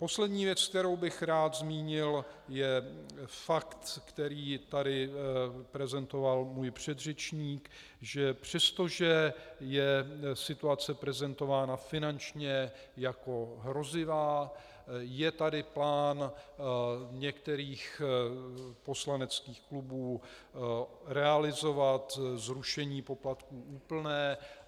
Poslední věc, kterou bych rád zmínil, je fakt, který tady prezentoval můj předřečník, že přestože je situace prezentována finančně jako hrozivá, je tady plán některých poslaneckých klubů realizovat zrušení poplatků úplné.